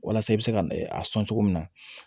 Walasa i bɛ se ka a sɔn cogo min na